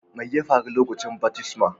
Mai ya faru lokacin baftisman?